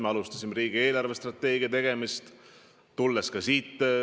Me alustasime riigi eelarvestrateegia tegemist.